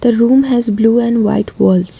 The room has blue and white walls.